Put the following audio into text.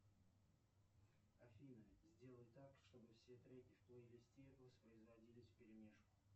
афина сделай так чтобы все треки в плейлисте воспроизводились вперемешку